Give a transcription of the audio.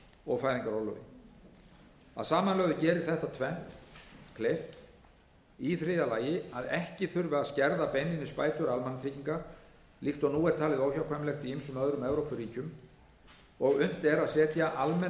og fæðingarorlofi að samanlögðu gerir þetta tvennt kleift í þriðja lagi að ekki þurfi að skerða beinlínis bætur almannatrygginga líkt og nú er talið óhjákvæmilegt í ýmsum öðrum evrópuríkjum og að unnt er að setja almenn